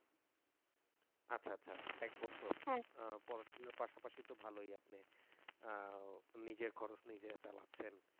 আচ্ছা আচ্ছা এক বছর পড়াশোনার পাশাপাশি তো ভালোই আপনি নিজের খরচ নিজেই চালাচ্ছেন।